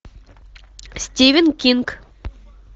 стивен кинг